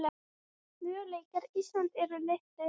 Möguleikar Íslands eru litlir